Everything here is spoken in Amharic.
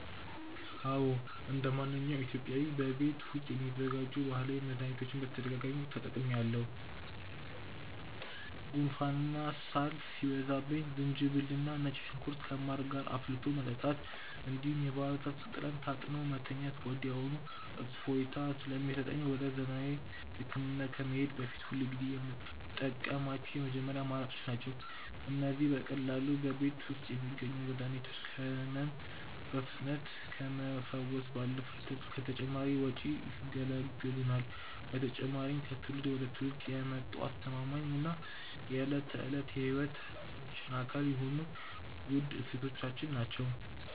አዎ እንደማንኛውም ኢትዮጵያዊ በቤት ውስጥ የሚዘጋጁ ባህላዊ መድኃኒቶችን በተደጋጋሚ ተጠቅሜአውቃሠሁ። ጉንፋንና ሳል ሲይዘኝ ዝንጅብልና ነጭ ሽንኩርት ከማር ጋር አፍልቶ መጠጣት፣ እንዲሁም የባህር ዛፍ ቅጠል ታጥኖ መተኛት ወዲያውኑ እፎይታ ስለሚሰጠኝ ወደ ዘመናዊ ሕክምና ከመሄዴ በፊት ሁልጊዜ የምጠቀማቸው የመጀመሪያ አማራጮቼ ናቸው። እነዚህ በቀላሉ በቤት ውስጥ የሚገኙ መድኃኒቶች ከሕመም በፍጥነት ከመፈወስ ባለፈ ከተጨማሪ ወጪ ይገላግሉናል። በተጨማሪም ከትውልድ ወደ ትውልድ የመጡ አስተማማኝና የዕለት ተዕለት ሕይወታችን አካል የሆኑ ውድ እሴቶቻችን ናቸው።